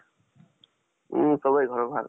উম চবে ঘৰৰ ভাল।